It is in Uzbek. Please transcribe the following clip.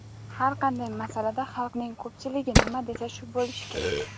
"Har qanday masalada xalqning ko‘pchiligi nima desa shu bo‘lishi kerak".